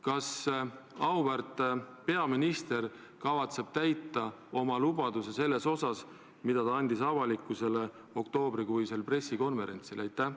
Kas auväärt peaminister kavatseb täita oma lubaduse, mille ta andis avalikkusele oktoobrikuisel pressikonverentsil?